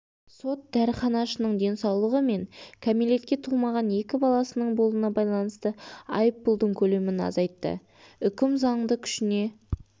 сот дәріханашының денсаулығы мен кәмелетке толмаған екі баласының болуына байланысты айыппұлдың көлемін азайтты үкім заңды күшіне